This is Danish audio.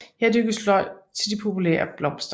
Her dyrkes løg til de populære blomster